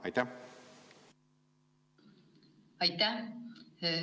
Aitäh!